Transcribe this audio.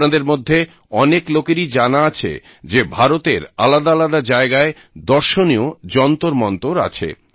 আপনাদের মধ্যে অনেক লোকেরই জানা আছে যে ভারতের আলাদাআলাদা জায়গায় দর্শনীয় যন্তরমন্তর আছে